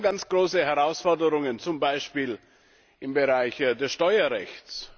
Wir haben ganz große Herausforderungen, zum Beispiel im Bereich des Steuerrechts.